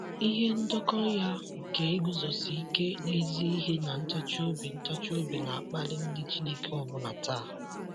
Ihe ndekọ ya nke iguzosi ike n'ezi ihe na ntachi obi ntachi obi na-akpali ndị Chineke ọbụna taa.